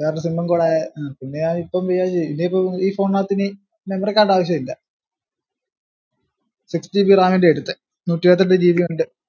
വേറെ ഒരു sim ഉം കൂടെ അഹ് പിന്നെ ഞാൻ ഇപ്പം വിചാരിച് ഇനിയിപ്പം ഈ phone നാത്ത് ഇനി memory card ആവിശുല്ലാ sixgb ന്റെയാ എടുത്തേ നൂറ്റിഇരുപത്തിയെട്ട് gb യുണ്ട്